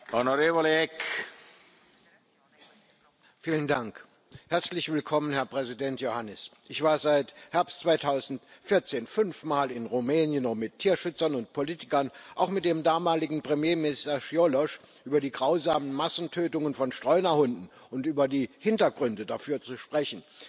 Herr Präsident! Herzlich willkommen, Herr Präsident Iohannis! Ich war seit Herbst 2014 fünf Mal in Rumänien, um mit Tierschützern und Politikern, auch mit dem damaligen Premierminister Cioloş, über die grausamen Massentötungen von Streunerhunden und über die Hintergründe dafür zu sprechen.